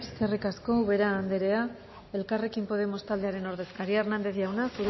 eskerrik asko ubera andrea elkarrekin podemos taldearen ordezkaria hernández jauna